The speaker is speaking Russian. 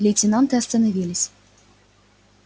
лейтенанты остановились